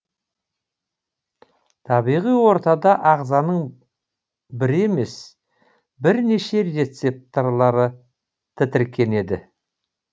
табиғи ортада ағзаның бір емес бірнеше рецептарлары тітіркенеді